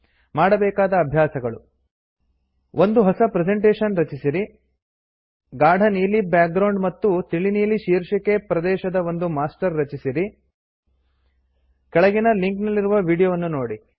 ಮಾಡಬೇಕಾದ ಅಭ್ಯಾಸಗಳು160 ಒಂದು ಹೊಸ ಪ್ರೆಸೆಂಟೇಶನ್ ರಚಿಸಿರಿ ಗಾಢ ನೀಲಿ ಬ್ಯಾಗ್ರೌಂಡ್ ಮತ್ತು ತಿಳಿ ನೀಲಿ ಶಿರ್ಷಿಕೆ ಪ್ರದೇಶದ ಒಂದು ಮಾಸ್ಟರನ್ನು ರಚಿಸಿರಿ ಕೆಳಗಿನ ಲಿಂಕ್ ನಲ್ಲಿರುವ ವೀಡಿಯೊವನ್ನು ನೋಡಿ